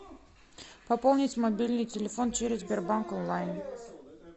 пополнить мобильный телефон через сбербанк онлайн